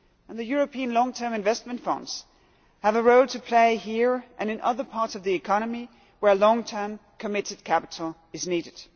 The European Long term Investments Funds have a role to play here and in other parts of the economy where long term committed capital is needed.